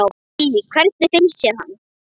Lillý: Hvernig finnst þér hann?